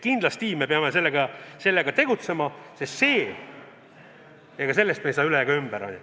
Kindlasti me peame selle nimel tegutsema, sellest me ei saa üle ega ümber, on ju.